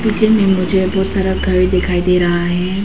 नीचे में मुझे बहुत सारा घर दिखाई दे रहा है।